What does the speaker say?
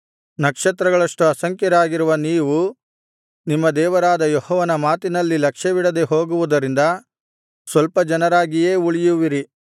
ನಕ್ಷತ್ರಗಳಷ್ಟು ಅಸಂಖ್ಯರಾಗಿರುವ ನೀವು ನಿಮ್ಮ ದೇವರಾದ ಯೆಹೋವನ ಮಾತಿನಲ್ಲಿ ಲಕ್ಷ್ಯವಿಡದೆ ಹೋಗುವುದರಿಂದ ಸ್ವಲ್ಪ ಜನರಾಗಿಯೇ ಉಳಿಯುವಿರಿ